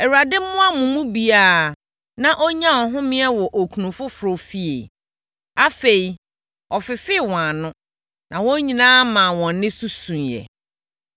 Awurade mmoa mo mu biara na ɔnnya ɔhome wɔ okunu foforɔ fie.” Afei, ɔfefee wɔn ano na wɔn nyinaa maa wɔn nne so suiɛ.